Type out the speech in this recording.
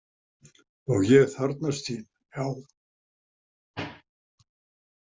Og ég þarfnast þín, já.